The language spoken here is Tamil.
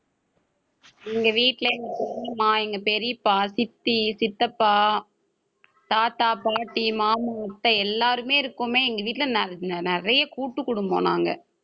எங்க வீட்ல எங்க பெரியம்மா, எங்க பெரியப்பா, சித்தி, சித்தப்பா, தாத்தா, பாட்டி, மாமு, முட்டை எல்லாருமே இருக்கோமே எங்க வீட்ல நிறைய கூட்டு குடும்பம் நாங்க.